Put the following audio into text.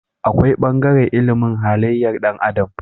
Akwai bangaren ilimin halayyar Dan adam